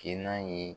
Ke n'a ye